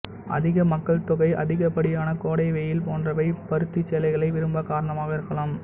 அதிக மக்கள் தொகை அதிகப்படியான கோடை வெயில் போன்றவை பருத்தி சேலைகளை விரும்ப காரணமாக இருக்கலாம்